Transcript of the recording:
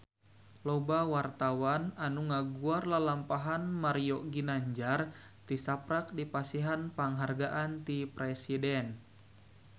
Loba wartawan anu ngaguar lalampahan Mario Ginanjar tisaprak dipasihan panghargaan ti Presiden